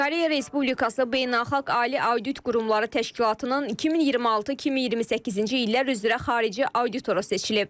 Koreya Respublikası beynəlxalq ali audit qurumları təşkilatının 2026-2028-ci illər üzrə xarici auditoru seçilib.